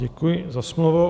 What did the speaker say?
Děkuji za slovo.